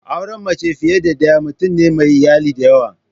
Auren mace fiye da daya mutum ne mai iyali dayawa.